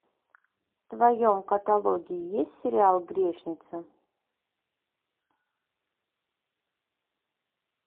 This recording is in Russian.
в твоем каталоге есть сериал грешница